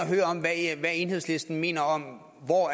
at enhedslisten mener om hvor